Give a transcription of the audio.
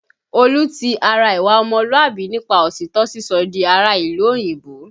Olú ti ara ìwà ọmọlúàbí nípa òtítọ́ sísọ di ará ìlú òyìnbó